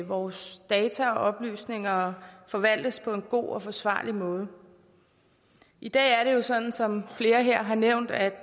vores data og oplysninger forvaltes på en god og forsvarlig måde i dag er det jo sådan som flere her har nævnt at